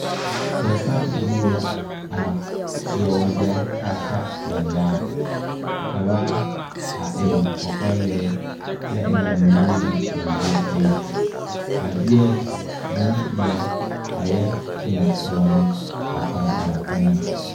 Pɔgesarebilee la a seɛ wagyɛre kaa ta ba nyaa ka ba a eŋ kɔkɔlɛɛ kyɛ eŋ a mine meŋ ba zuri eŋɛ ba deɛ bonpeɛl a yɛ toɔtoɔ ne ba kpaŋkpama eŋɛŋ.